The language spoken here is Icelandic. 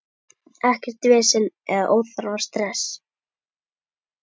Ekkert vesen eða óþarfa stress.